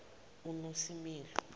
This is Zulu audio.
unosimilo